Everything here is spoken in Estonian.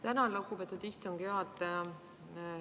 Tänan, lugupeetud istungi juhataja!